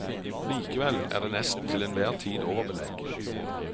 Likevel er det nesten til enhver tid overbelegg.